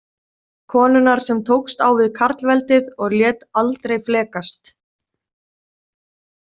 Konunnar sem tókst á við karlveldið og lét aldrei flekast.